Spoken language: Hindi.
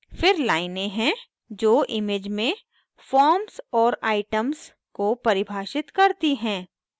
फिर लाइनें हैं जो image में forms और items को परिभाषित करती हैं